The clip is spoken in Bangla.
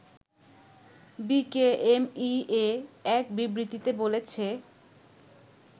বিকেএমইএ এক বিবৃতিতে বলেছে